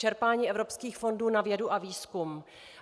Čerpání evropských fondů na vědu a výzkum.